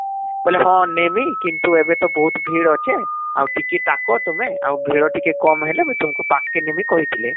ବୋଇଲେ ହଁ ନେବି କିନ୍ତୁ ଏବେ ତ ବହୁତ ଭିଡ଼ ଅଛେ ,ଆଉ ଟିକେ ଟାକ ତୁମେ ଆଉ ଭିଡ଼ ଟିକେ କମ ହେଲେ ମୁଇଁ ତୁମକୁ ପାଖ କେ ନେମି କହିଥିଲେ